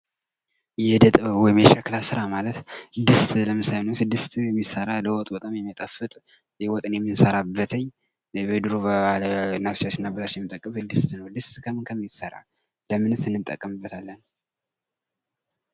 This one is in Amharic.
የእደጥበብ ወይም የሸክላ ስራ ማለት ድስት ለምሳሌ የሆነ ድስት ሚሰራ ለወጥ በጣም ሚያጣፍጥ ወጥን የምንሰራበትኝ የድሮ እናታችን እና አባቶቻችን የሚጠቀሙበት ድስት ነዉ ። ድስት ከምን ከምን ይሰራል? ለምንስ እንጠቀምበታለን ?